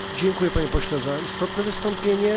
Dziękuję, Panie Pośle, za istotne wystąpienie.